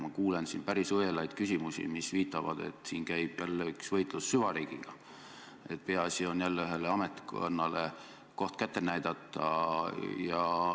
Ma kuulen siin päris õelaid küsimusi, mis viitavad, et siin käib jälle võitlus süvariigiga, peaasi on jälle ühele ametkonnale koht kätte näidata.